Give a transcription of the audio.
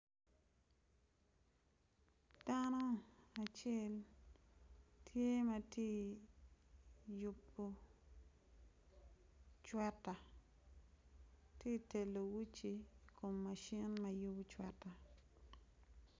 Dano acel tye ma tye i yubo cweta tye ka keto uci i kom machine ma yubo cwetta.